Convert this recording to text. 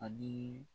Ani